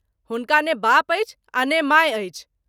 हुनका ने बाप अछि और ने माय अछि।